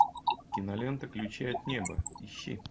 кинолента ключи от неба ищи